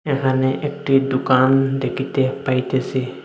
এখানে একটি দুকান দেখিতে পাইতেছি।